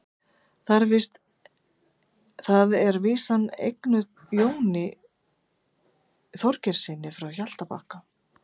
þar er vísan eignuð jóni þorgeirssyni frá hjaltabakka